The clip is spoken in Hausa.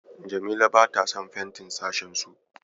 Jamila bata son fentin sashensu.